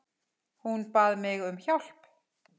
Hún bað mig um hjálp.